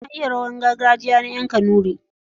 Na iya rawar gargajiya na ƴan kanuri.